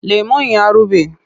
Lemon ya ruɓe.